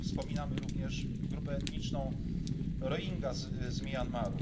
Jazydów. Wspominamy również grupę etniczną Rohindżów